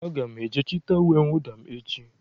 Aga m eje chịta uwe mwụda m echi.